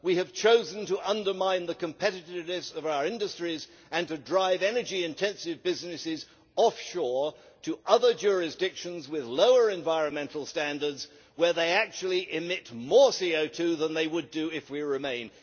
we have chosen to undermine the competitiveness of our industries and to drive energy intensive businesses offshore to other jurisdictions with lower environmental standards, where they actually emit more CO2 than they would do if we remain.